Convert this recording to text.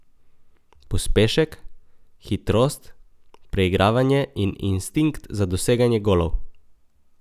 Pospešek, hitrost, preigravanje in instinkt za doseganje golov.